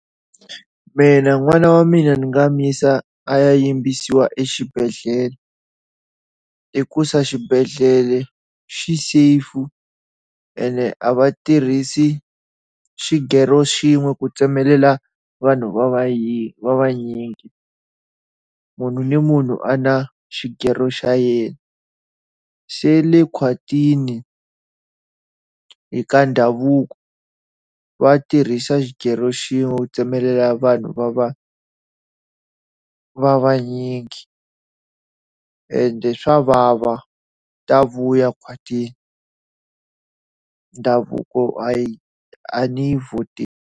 Mina n'wana wa mina ni nga n'wi yisa ya yimbisiwa exibedhlele, hikusa xibedhlele xi safe ene a va tirhisi xikero xin'we ku tsemelela vanhu va yingi vanyingi. Munhu ni munhu u na xikero xa yena. Se le khwatini, ka ndhavuko, va tirhisa xighero xin'we tsemelela vanhu va va va vanyingi. Ende swa vava, ta vuya khwatini. Ndhavuko hayi a ni yi vhoteli.